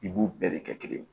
I b'u bɛɛ de kɛ kelen ye